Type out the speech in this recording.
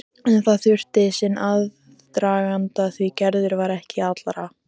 En það þurfti sinn aðdraganda því Gerður var ekki allra.